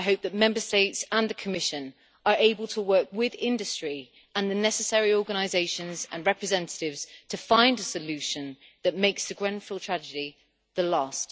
I hope that Member States and the Commission are able to work with industry and the necessary organisations and representatives to find a solution that makes the Grenfell tragedy the last.